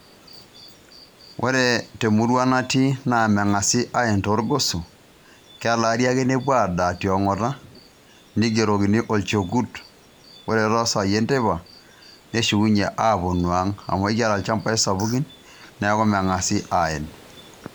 Ore temurua natii naa meng'asi aen torgoso kelaari ake nepuo adaa tong'ata neigerokini Olchokut. Ore tosai enteipa neshukunyie aaponu ang' , amu kiata ilnchampai sapuki neeku meng'asi aen.